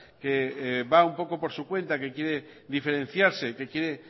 que va un poco por su cuenta que quiere diferenciarse que quiere